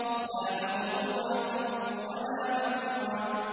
لَّا مَقْطُوعَةٍ وَلَا مَمْنُوعَةٍ